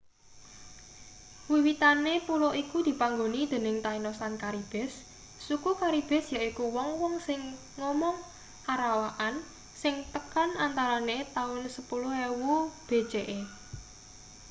wiwitane pulo iku dipanggoni dening tainos lan caribes suku caribes yaiku wong-wong sing omong arawakan sing tekan antarane taun 10.000 bce